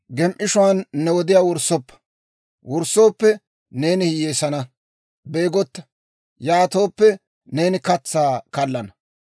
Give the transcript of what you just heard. Gem"ishuwaan ne wodiyaa wurssoppa; neeni hiyyeessana. Beegotta; yaatooppe, neeni katsaa kallana.